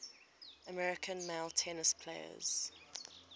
american male tennis players